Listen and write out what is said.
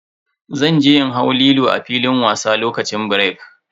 Zan je in hau Lilo a filin wasa lokacin birek.